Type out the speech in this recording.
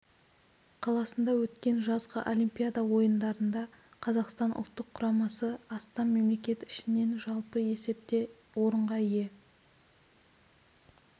қаласында өткен жазғы олимпиада ойындарында қазақстан ұлттық құрамасы астам мемлекет ішінен жалпы есепте орынға ие